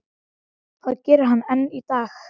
Það gerir hann enn í dag.